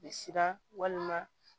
Bɛ siran walima